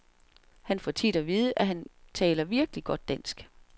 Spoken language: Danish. Han får tit at vide, at han taler virkelig godt dansk .